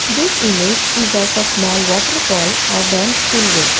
This image is of a small waterfall or dams spillway.